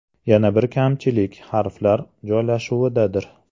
Yana bir kamchilik harflar joylashuvidadir.